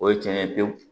O ye cɛn ye pewu